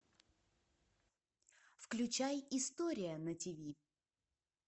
включай история на тиви